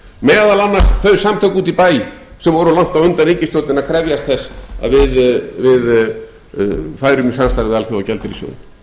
meðal annars þau samtök úti í bæ sem voru langt á undan ríkisstjórninni að krefjast þess að við færum í samstarf við alþjóðagjaldeyrissjóðinn